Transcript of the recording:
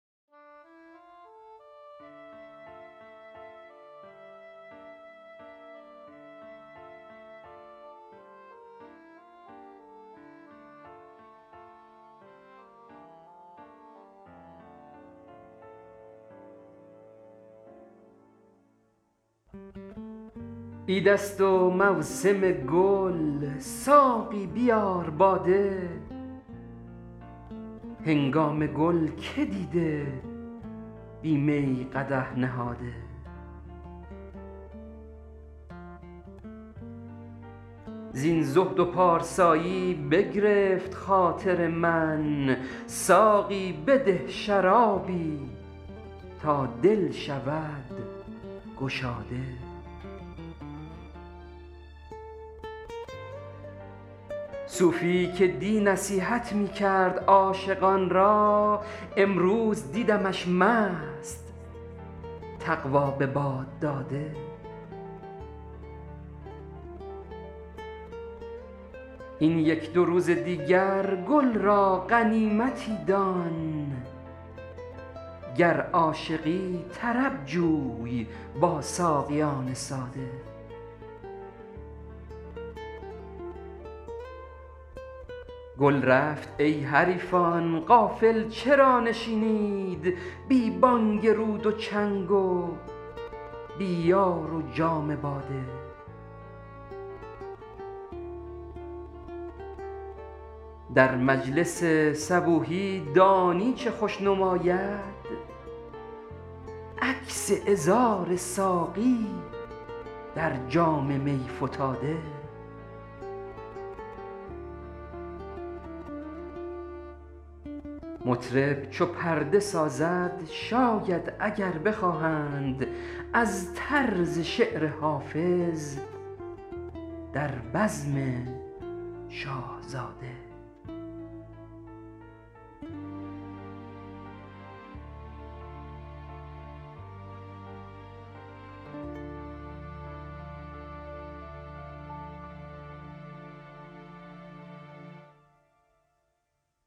عید است و موسم گل ساقی بیار باده هنگام گل که دیده بی می قدح نهاده زین زهد و پارسایی بگرفت خاطر من ساقی بده شرابی تا دل شود گشاده صوفی که دی نصیحت می­کرد عاشقان را امروز دیدمش مست تقوا به باد داده این یک دو روز دیگر گل را غنیمتی دان گر عاشقی طرب جوی با ساقیان ساده گل رفت ای حریفان غافل چرا نشینید بی­ بانگ رود و چنگ و بی یار و جام باده در مجلس صبوحی دانی چه خوش نماید عکس عذار ساقی در جام می فتاده مطرب چو پرده سازد شاید اگر بخواهند از طرز شعر حافظ در بزم شاهزاده